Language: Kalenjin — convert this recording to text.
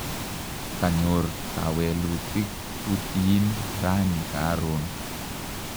kanyoor kewelutuk tutihin rani karoon